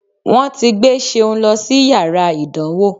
Wọ́n ti gbé Ṣeun lọ sí yàrá ìdánwò